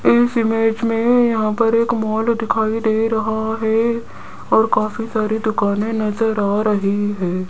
इस इमेज में यहां पर एक मॉल दिखाई दे रहा है और काफी सारी दुकाने नजर आ रही है।